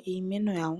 iimeno